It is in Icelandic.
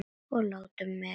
Og láti mig í friði.